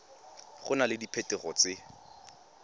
go na le diphetogo tse